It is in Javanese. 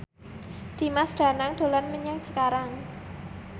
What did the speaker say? Dimas Danang dolan menyang Cikarang